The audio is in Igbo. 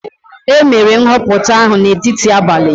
E mere nhọpụta ahụ n'etiti abalị.